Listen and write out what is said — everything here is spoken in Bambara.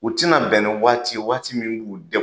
U ti na bɛn ni waati ye waati min b'u degun.